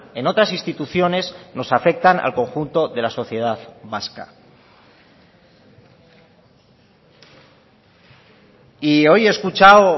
en otras instituciones nos afectan al conjunto de la sociedad vasca y hoy he escuchado